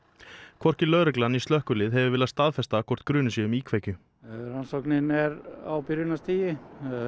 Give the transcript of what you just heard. hvorki lögregla né slökkvilið hefur viljað staðfesta hvort grunur sé um íkveikju rannsókn er á byrjunarstigi